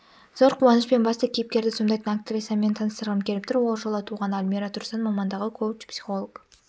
зор қуанышпен басты кейіпкерді сомдайтын актрисамен таныстырғым келіп тұр ол жылы туған алмира тұрсын мамандығы коуч-психолог